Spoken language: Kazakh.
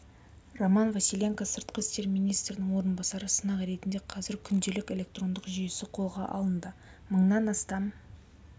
роман василенко сыртқы істер министрінің орынбасары сынақ ретінде қазір күнделік электрондық жүйесі қолға алынды мыңнан астам